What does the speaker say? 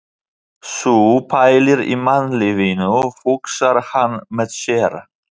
Sú pælir í mannlífinu, hugsar hann með sér.